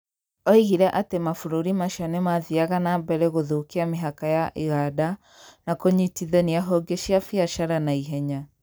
Oigire atĩ mabũrũri macio nĩ mathiaga na mbere gũthũkia mĩhaka ya iganda na kũnyitithania honge cia biacara na ihenya.